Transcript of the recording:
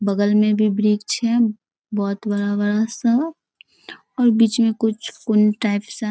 बगल में भी वृक्ष है बहुत बड़ा-बड़ा सा और बीच में कुछ कुंड टाइप सा --